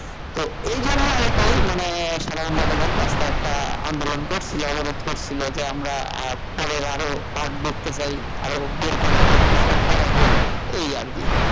তো এই জন্য নাকি মানে সাধারন জনগণ রাস্তায় একটা আন্দোলন করছিল, অবরোধ করছিল যে আমরা পরে আরও part দেখতে চাই আরো বের করা হোক নাটক করা হোক এই আর কি,